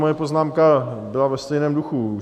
Moje poznámka byla ve stejném duchu.